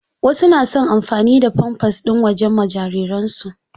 Wasu na son amfani da famfas ɗin waje ma jariran su.